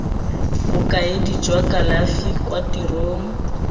bokaedi jwa kalafi kwa tirong